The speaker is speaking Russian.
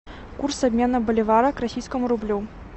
курс обмена боливара к российскому рублю